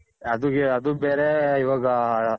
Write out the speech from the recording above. ಅದು ಬೇರೆ ಇವಾಗ .